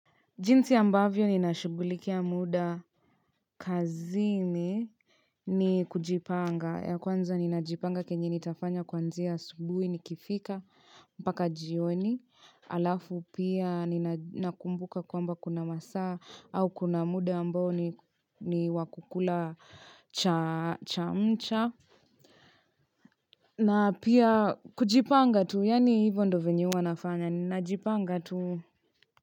Jinsi ambavyo ninashughulikia mda kazini ni kujipanga ya kwanza ninajipanga kenye nitafanya kwanzia asubuhi nikifika mbaka jioni halafu pia ninakumbuka kwamba kuna masaa au kuna mda ambao ni ni wa kukula cha chamcha na pia kujipanga tu yaani hivyo ndo venye huwa nafanya ninajipanga tu.